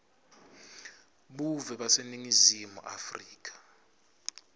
buve baseningizimu afrika